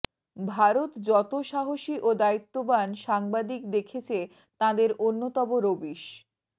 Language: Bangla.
ভারত যতো সাহসী ও দায়িত্ববান সাংবাদিক দেখেছে তাঁদের অন্যতম রবীশ